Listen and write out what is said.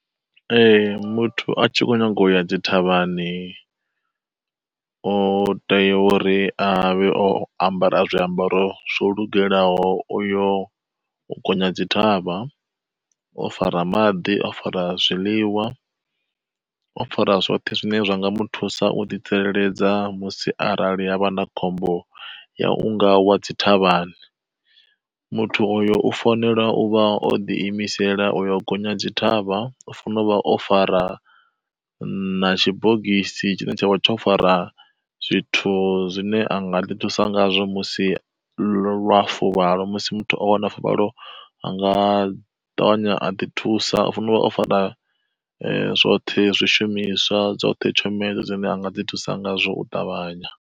Ee muthu a tshi kho nyaga u ya dzi thavhani, o tea uri avhe o ambara zwiambaro zwo lugelaho oyo u gonya dzi thavha. O fara maḓi, o fara zwiḽiwa, o fara zwoṱhe zwine zwa nga mu thusa u ḓi tsireledza musi arali hangavha na khombo ya unga wa dzi thavhani, muthu oyo u fanela uvha o ḓi imisela oyo gonya dzi thavha, u funa uvha o fara na tshibogisi tshavha tsho fara zwithu zwine anga ḓi thusa ngazwo musi lwa fuvhalo, musi muthu o wana fuvhalo anga ṱavhanya a ḓi thusa vhunga o fara zwoṱhe zwishumiswa dzoṱhe tshumelo dzine anga ḓi thusa ngazwo u ṱavhanya.